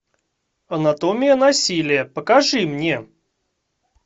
анатомия насилия покажи мне